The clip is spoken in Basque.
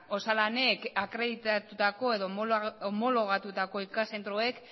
osalanek akreditatutako edo homologatutako ikas zentroek